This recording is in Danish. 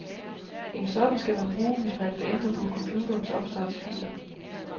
En sådan skal man bruge, hvis man vil ændre på computerens opstartsfiler.